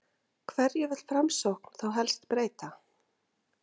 Hverju vill Framsókn þá helst breyta?